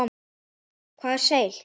Hvað er seil?